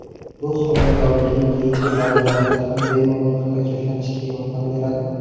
Bu homiladorlikning keyingi davrlarida ham bemalol harakatlanishga yordam beradi.